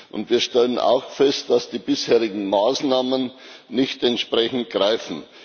Und wir stellen auch fest, dass die bisherigen Maßnahmen nicht entsprechend greifen.